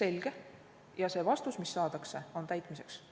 selge, ja see vastus, mis saadakse, on täitmiseks.